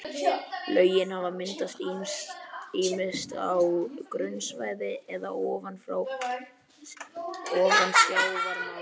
Lögin hafa myndast ýmist á grunnsævi eða ofan sjávarmáls.